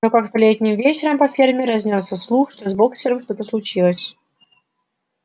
но как-то летним вечером по ферме разнёсся слух что с боксёром что-то случилось